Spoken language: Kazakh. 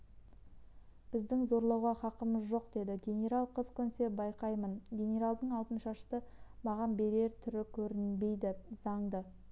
біздің зорлауға хақымыз жоқ деді генерал қыз көнсе байқаймын генералдың алтыншашты маған берер түрі көрінбейді заңды